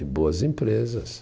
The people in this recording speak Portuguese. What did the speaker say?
E boas empresas.